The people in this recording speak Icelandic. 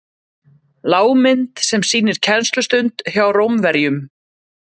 lágmynd sem sýnir kennslustund hjá rómverjum